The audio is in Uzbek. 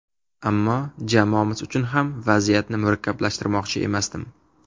Ammo jamoamiz uchun ham vaziyatni murakkablashtirmoqchi emasdim.